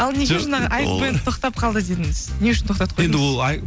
ал неге жаңағы айк бэнд тоқтап қалды дедіңіз не үшін тоқтатып қойдыңыз